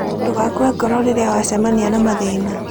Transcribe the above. Ndũgakue ngoro rĩrĩa wacemania na mathĩna.